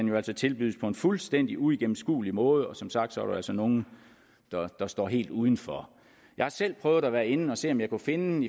jo altså tilbydes på en fuldstændig uigennemskuelig måde og som sagt er der altså nogle der står helt uden for jeg har selv prøvet at være inde at se om jeg kunne finde